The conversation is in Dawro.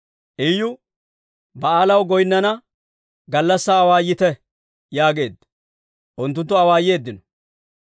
Iyu, «Ba'aalaw goynnana gallassaa awaayite» yaageedda. Unttunttu awaayeeddino.